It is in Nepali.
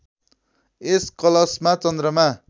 यस कलशमा चन्द्रमा